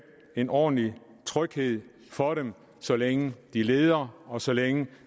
en ordentlig tryghed for dem så længe de leder og så længe